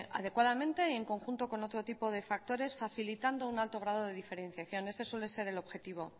adecuadamente y en conjunto con otro tipo de factores facilitando un alto grado de diferentes en eso suele ser el objetivo